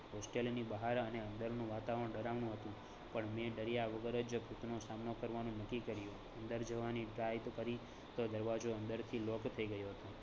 hostel ની બહાર અને અંદરનું વાતાવરણ ડરાવનું હતુ પણ મેં ડર્યા વગર જ ભૂતનો સામનો કરવાનું નકકી કર્યુ. અંદર જવાની try તો કરી તો દરવાજો અંદરથી lock થઈ ગયો હતો